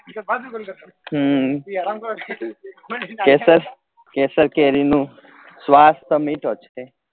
હમ કેસર કેસર કેરી નું સ્વાદ તો મીઠો છે